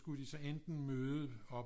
Skulle de så enten møde op